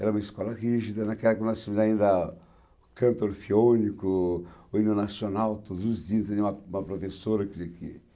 Era uma escola rígida, naquela que nós fazíamos ainda canto orfiônico, o hino nacional, todos os dias tinha uma uma professora que dizia que